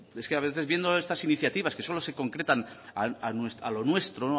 es que a veces viendo estas iniciativas que solo se concretan a lo nuestro